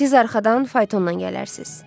Siz arxadan faytondan gələrsiz.